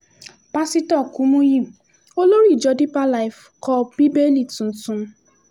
pásítọ̀ kùmùyí olórí ìjọ deeper life kọ bíbélì tuntun